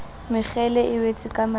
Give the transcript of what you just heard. mekgele e wetse ka mahlong